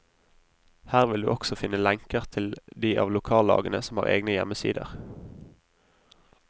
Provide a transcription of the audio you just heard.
Her vil du også finne lenker til de av lokallagene som har egne hjemmesider.